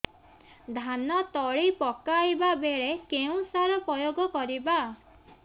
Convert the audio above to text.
ଧାନ ତଳି ପକାଇବା ବେଳେ କେଉଁ ସାର ପ୍ରୟୋଗ କରିବା